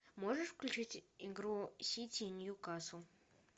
можешь включить игру сити ньюкасл